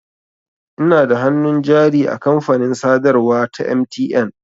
Ina da hannun jari a kamfanin sadarwa ta MTN.